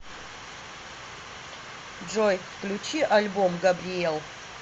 джой включи альбом габриэл